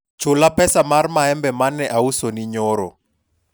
chula pesa mar maembe mane ausoni nyoro